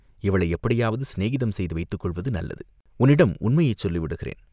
இவளை எப்படியாவது சிநேகிதம் செய்து வைத்துக் கொள்வது நல்லது, உன்னிடம் உண்மையைச் சொல்லிவிடுகிறேன்.